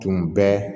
Tun bɛ